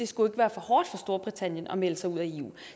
skulle være for hårdt for storbritannien at melde sig ud af eu